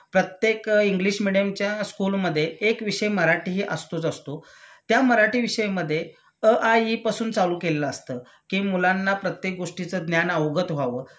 प्रत्येक इंग्लिश मेडियमच्या स्कूलमधे एक विषय मराठीहि असतोच असतो त्या मराठी विषयामध्ये अ आ इ पासून चालू केलेलं असतं कि मुलांना प्रत्येक गोष्टीच ज्ञान अवगत व्हावं